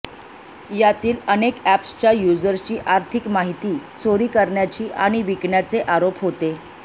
यातील अनेक ऍप्सच्या युजरची आर्थिक माहिती चोरी करण्याची आणि विकण्याचे आरोप होते